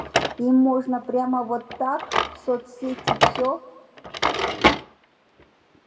им можно прямо вот так в соцсети всё